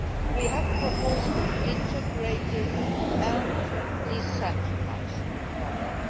We have proposed an integrated and decentralised model.